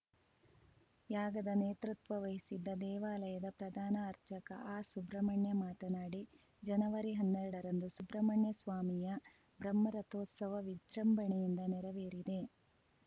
ಯಾಗದ ನೇತೃತ್ವ ವಹಿಸಿದ್ದ ದೇವಾಲಯದ ಪ್ರಧಾನ ಅರ್ಚಕ ಆರ್‌ಸುಬ್ರಹ್ಮಣ್ಯ ಮಾತನಾಡಿ ಜನವರಿಹನ್ನೆರಡರಂದು ಸುಬ್ರಹ್ಮಣ್ಯ ಸ್ವಾಮಿಯ ಬ್ರಹ್ಮರಥೋತ್ಸವ ವಿಜೃಂಭಣಯಿಂದ ನೆರವೇರಿದೆ